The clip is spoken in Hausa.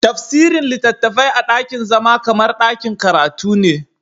Tafsirin littafai a dakin zama kamar dakin karatu ne.